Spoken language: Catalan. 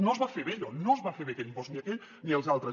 no es va fer bé allò no es va fer bé aquell impost ni aquell ni els altres